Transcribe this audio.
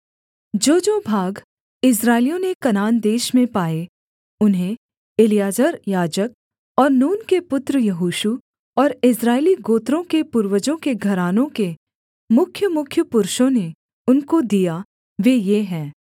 जोजो भाग इस्राएलियों ने कनान देश में पाए उन्हें एलीआजर याजक और नून के पुत्र यहोशू और इस्राएली गोत्रों के पूर्वजों के घरानों के मुख्यमुख्य पुरुषों ने उनको दिया वे ये हैं